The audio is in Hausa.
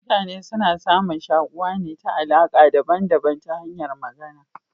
Mutane suna samun shakuwa ne ta alaka daban daban ta hanyan Magana